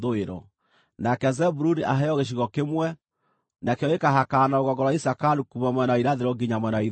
“Nake Zebuluni aheo gĩcigo kĩmwe; nakĩo gĩkaahakana na rũgongo rwa Isakaru kuuma mwena wa irathĩro nginya mwena wa ithũĩro.